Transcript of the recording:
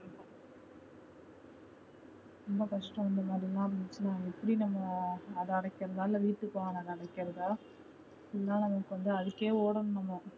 ரொம்ப கஷ்டம் இந்தமாதிரிலா இருந்துச்சுன்னா எப்படி நம்ம அத அடைக்கறதா இல்ல வீட்டு கடன் அ அடைகிறதா இல்ல நமக்கு வந்து அதுக்கே ஓடணும் நம்ம